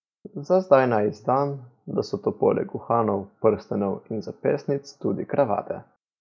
Za zdaj naj izdam, da so to poleg uhanov, prstanov in zapestnic tudi kravate.